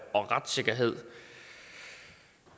og retssikkerhed